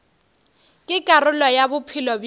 ke karolo ya bophelo bja